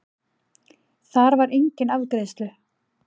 Þar var enginn afgreiðslu